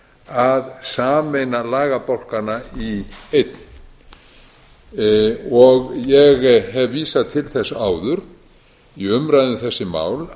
að sameina lagabálkana í einn ég hef vísað til þess áður í umræðu um þessi